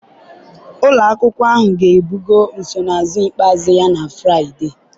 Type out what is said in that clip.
ụlọ akwụkwọ ahụ ga-ebugo nsonaazụ ikpeazụ ya na Fraịde